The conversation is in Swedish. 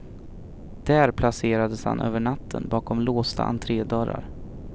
Där placerades han över natten, bakom låsta entredörrar.